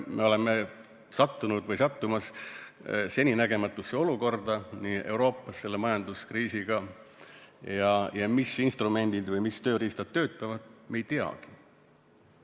Me oleme sattunud või sattumas seninägematusse olukorda Euroopas selle majanduskriisiga ja mis instrumendid või tööriistad töötavad, me ei teagi.